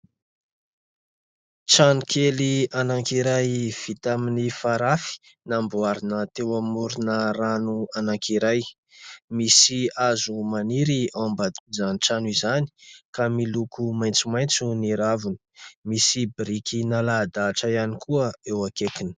Trano kely anankiray vita amin'ny farafy namboarina teo amorona rano anankiray. Misy hazo maniry ao ambaniny trano izany ka miloko maitsomaitso ny raviny, misy biriky nalahadatra ihany koa eo akaikiny.